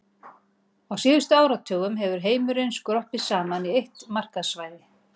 Á síðustu áratugum hefur heimurinn skroppið saman í eitt markaðssvæði.